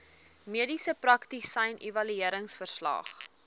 mediese praktisyn evalueringsverslag